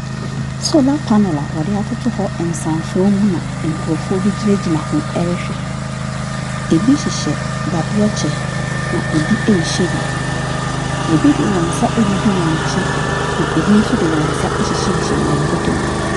Solar panel a wɔde atoto hɔ nsansoɔ bi na nkurɔfoɔ bi gyinagyina hɔ rehwɛ. Ebi hyehyɛ dadeɛ kyɛ, na ebi nhyɛ bi. Ebi de wɔn nsa agugu wɔn akyi, na ebi nso de wɔn nsa ahyehyɛhyehyɛ wɔn bɔtom.